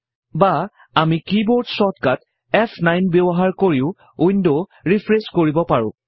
বা আমি কি বৰ্ড ছৰ্টকাট ফ9 ব্যৱহাৰ কৰিও উইন্ড ৰিফ্ৰেচ কৰিব পাৰোঁ